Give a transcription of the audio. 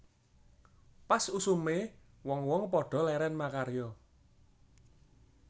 Pas usume wong wong padha leren makarya